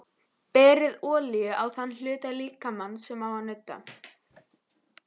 Berið olíu á þann hluta líkamans sem á að nudda.